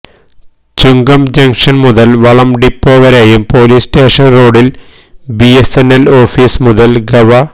ചുങ്കം junction മുതല് വളം depot വരെയും പോലീസ് സ്റ്റേഷന് റോഡില് ബിഎസ്എന്എല് ഓഫീസ് മുതല് ഗവ